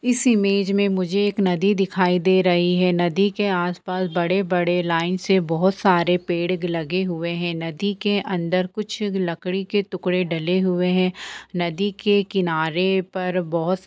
इस इमेज मे मुझे एक नदी दिखाई दे रही है नदी के आसपास बड़े बड़े लाइन से बोहत सारे पड़े लगे हुए है नदी के अंदर कुछ लकड़ी के टुकड़े डले हुए है नदी के किनारे पर बोहत --